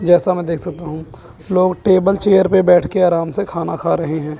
जैसा मैं देख सकता हूं लोग टेबल चेयर पे बैठ के आराम से खाना खा रहे हैं।